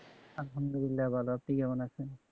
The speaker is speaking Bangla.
আল্লাহামদুল্লিলাহ ভালো আছি কেমন আছেন